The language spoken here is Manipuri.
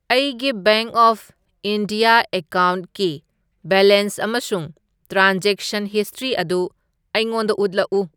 ꯑꯩꯒꯤ ꯕꯦꯡꯛ ꯑꯣꯐ ꯏꯟꯗꯤꯌꯥ ꯑꯦꯀꯥꯎꯟꯠꯀꯤ ꯕꯦꯂꯦꯟꯁ ꯑꯃꯁꯨꯡ ꯇ꯭ꯔꯥꯟꯖꯦꯛꯁꯟ ꯍꯤꯁꯇ꯭ꯔꯤ ꯑꯗꯨ ꯑꯩꯉꯣꯟꯗ ꯎꯠꯂꯛꯎ꯫